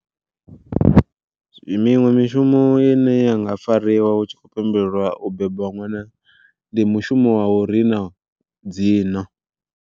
Miṅwe mishumo ine yanga fariwa hu tshi khou pembeleliwa u bebwa ha ṅwana ndi mushumo wa u rina dzina.